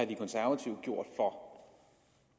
de konservative gjort for